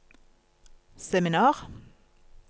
seminar